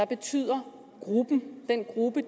betyder gruppen den gruppe